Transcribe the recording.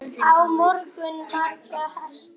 Hann á marga, marga hesta.